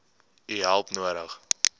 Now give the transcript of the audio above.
u hulp nodig